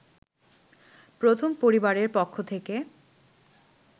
প্রথম পরিবারের পক্ষ থেকে